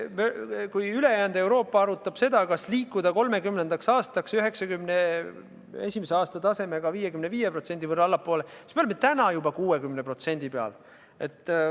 Kui ülejäänud Euroopa arutab, kas liikuda 2030. aastaks 1991. aasta tasemest 55% allapoole, siis meie oleme juba täna 60% peal.